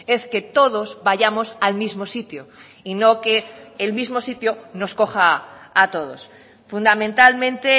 es que todos vayamos al mismo sitio y no que el mismo sitio nos coja a todos fundamentalmente